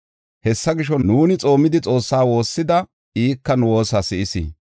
Hessa gisho, nuuni xoomidi, Xoossa woossida; ika nu woosa si7is.